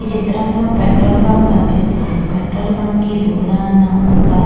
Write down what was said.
ఈ చిత్రం లో పెట్రోల్ బంక్ కనిపిస్తుంది.పెట్రోల్ బంక్ కి దురణ ఒక--